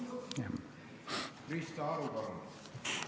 Krista Aru, palun!